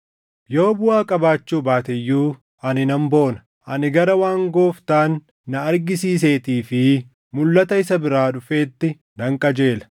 Yoo buʼaa qabaachuu baate iyyuu ani nan boona. Ani gara waan Gooftaan na argisiiseetii fi mulʼata isa biraa dhufeetti nan qajeela.